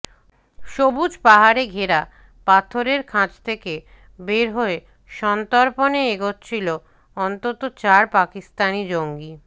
সবুজ পাহাড়ে ঘেরা পাথরের খাঁজ থেকে বের হয়ে সন্তর্পণে এগোচ্ছিল অন্তত চার পাকিস্তানি জঙ্গি